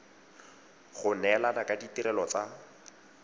go neelana ka ditirelo tsa